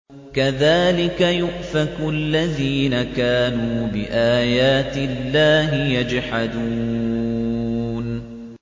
كَذَٰلِكَ يُؤْفَكُ الَّذِينَ كَانُوا بِآيَاتِ اللَّهِ يَجْحَدُونَ